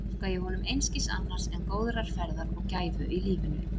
Óska ég honum einskis annars en góðrar ferðar og gæfu í lífinu.